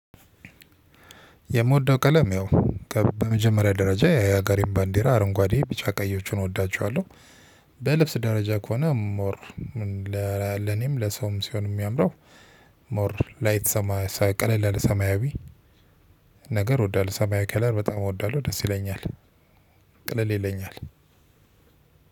የምወደው ቀለም ያው በመጀመሪያ ደረጃ የሀገሬን ባንዲራ አረንጓዴ ቢጫ ቀዮችን እወዳቸዋለሁ። በልብስ ደረጃ ከሆነ ሞር ለኔም ለሰውም ሲሆን የሚያምረው። ሞር ላይት ቀለል ሰማያዊ። ነገር እወዳለው ሰማያዊ ከለር በጣም እወዳለሁ ደስ ይለኛል። ቀለል ይለኛል።